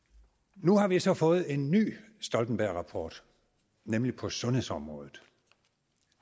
nu har vi så fået en ny stoltenbergrapport nemlig på sundhedsområdet